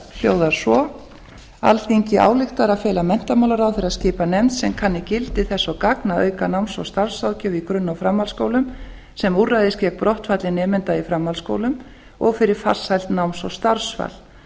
hljóðar svo alþingi ályktar að fela menntamálaráðherra að skipa nefnd sem kanni gildi þess og gagn að auka náms og starfsráðgjöf í grunn og framhaldsskólum sem úrræði við brottfalli nemenda í framhaldsskólum og fyrir farsælt náms og starfsval